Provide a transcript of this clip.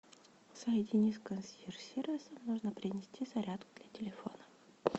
соедини с консьерж сервисом нужно принести зарядку для телефона